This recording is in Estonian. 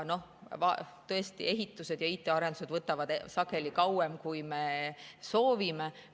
Tõesti, ehitused ja IT‑arendused võtavad sageli kauem, kui me soovime.